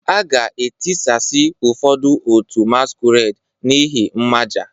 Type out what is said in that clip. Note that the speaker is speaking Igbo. A ga-etisasị ụfọdụ otu masquerade n'ihi mmaja